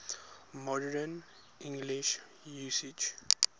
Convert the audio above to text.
modern english usage